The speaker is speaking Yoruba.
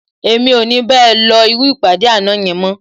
Èmi ò ní bá ẹ lọ irú ìpàdé àná yẹn mọ́